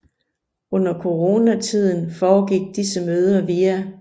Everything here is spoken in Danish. Under Corona tiden foregik disse møder via